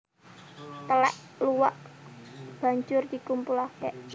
Telèk luwak banjur dikumpulake